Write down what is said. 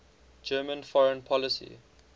german foreign policy